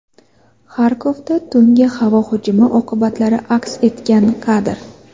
Xarkovda tungi havo hujumi oqibatlari aks etgan kadr.